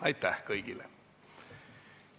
Aitäh kõigile!